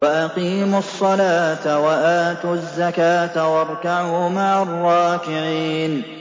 وَأَقِيمُوا الصَّلَاةَ وَآتُوا الزَّكَاةَ وَارْكَعُوا مَعَ الرَّاكِعِينَ